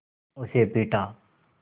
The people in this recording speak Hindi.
उसे पीटा